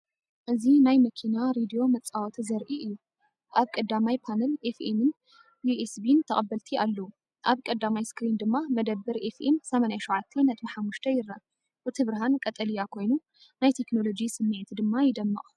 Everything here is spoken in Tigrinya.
እዚ ናይ መኪና ሬድዮ መጻወቲ ዘርኢ እዩ። ኣብ ቀዳማይ ፓነል ኤፍኤምን ዩኤስቢን ተቐበልቲ ኣለዉ፡ ኣብ ቀዳማይ ስክሪን ድማ መደበር ኤፍኤም “87.5” ይርአ። እቲ ብርሃን ቀጠልያ ኮይኑ ናይ ቴክኖሎጂ ስምዒት ድማ ይደምቕ።